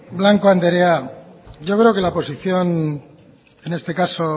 blanco andrea yo creo que la posición en este caso